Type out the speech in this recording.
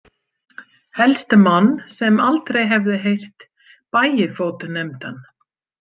Helst mann sem aldrei hefði heyrt Bægifót nefndan.